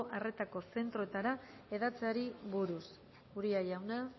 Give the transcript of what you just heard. arretako zentroetara hedatzeari buruz uria jauna